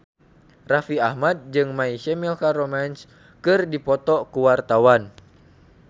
Raffi Ahmad jeung My Chemical Romance keur dipoto ku wartawan